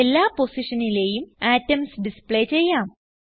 എല്ലാ പൊസിഷനിലെയും atoms display ചെയ്യാം